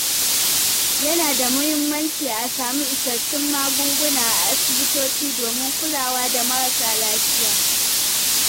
Yana da muhimmanci a samu isassun magunguna a asibitoci domin kulawa da marasa lafiya.